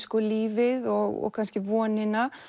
lífið og kannski vonina